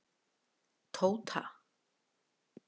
Tóta